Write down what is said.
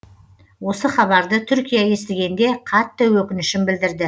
осы хабарды түркия естігенде қатты өкінішін білдірді